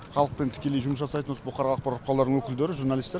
халықпен тікелей жұмыс жасайтын осы бұқаралық ақпарат құралдарының өкілдері журналисттер